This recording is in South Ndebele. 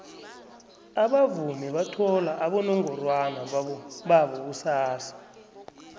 abavumi bathola abonongorwana babo kusasa